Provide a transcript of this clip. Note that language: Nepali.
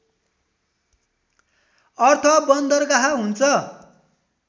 अर्थ बन्दरगाह हुन्छ